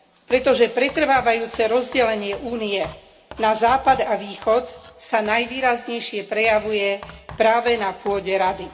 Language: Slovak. Pretože pretrvávajúce rozdelenie Únie na Západ a Východ sa najvýraznejšie prejavuje práve na pôde Rady.